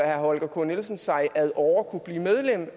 herre holger k nielsen sig ad åre kunne blive medlem